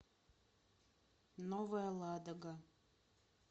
новая ладога